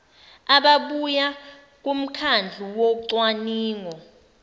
ababuya kumkhandlu wocwaningo